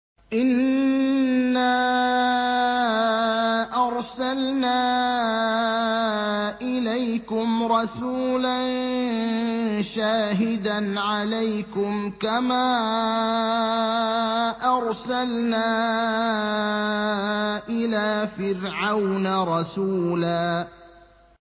إِنَّا أَرْسَلْنَا إِلَيْكُمْ رَسُولًا شَاهِدًا عَلَيْكُمْ كَمَا أَرْسَلْنَا إِلَىٰ فِرْعَوْنَ رَسُولًا